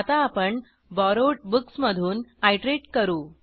आता आपण borrowed books मधून आयटरेट करू